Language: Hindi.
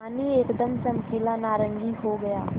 पानी एकदम चमकीला नारंगी हो गया